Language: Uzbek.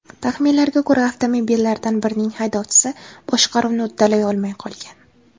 Taxminlarga ko‘ra, avtomobillardan birining haydovchisi boshqaruvni uddalay olmay qolgan.